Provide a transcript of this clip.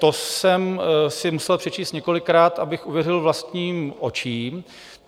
To jsem si musel přečíst několikrát, abych uvěřil vlastním očím.